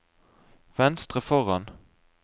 venstre foran